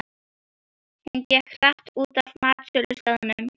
Hún gekk hratt út af matsölustaðnum.